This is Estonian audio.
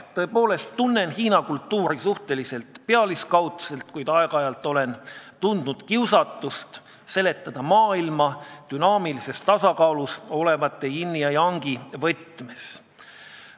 Tõepoolest, ma tunnen Hiina kultuuri suhteliselt pealiskaudselt, kuid aeg-ajalt on mul olnud kiusatus seletada maailma dünaamilises tasakaalus olevate yin'i ja yang'i võtmes.